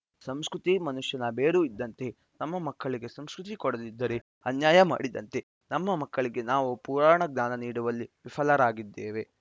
ಸಂಸ್ಕೃತಿ ಮನುಷ್ಯನ ಬೇರು ಇದ್ದಂತೆ ನಮ್ಮ ಮಕ್ಕಳಿಗೆ ಸಂಸ್ಕೃತಿ ಕೊಡದಿದ್ದರೆ ಅನ್ಯಾಯ ಮಾಡಿದಂತೆ ನಮ್ಮ ಮಕ್ಕಳಿಗೆ ನಾವು ಪುರಾಣ ಜ್ಞಾನ ನೀಡುವಲ್ಲಿ ವಿಫಲರಾಗಿದ್ದೇವೆ